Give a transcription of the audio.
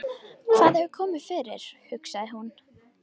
Hvað hefur komið fyrir, hugsaði hún.